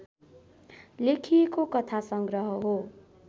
लेखिएको कथा सङ्ग्रह हो